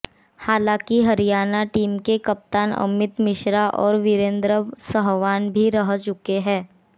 हालांकि हरियाणा टीम के कप्तान अमित मिश्रा और वीरेंद्र सहवाग भी रह चुके हैं